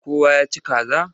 Kowa ya ci kaza?